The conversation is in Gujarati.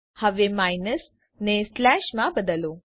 હવે માઇનસ ને સ્લેશ માં બદલો